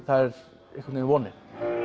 það er einhvern veginn vonin